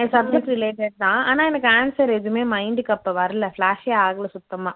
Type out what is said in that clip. என் subject related தான் ஆனா எனக்கு answer எதுவுமே mind க்கு அப்போ வரல flash ஏ ஆகல சுத்தமா